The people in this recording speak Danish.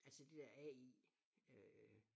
Altså det der AI øh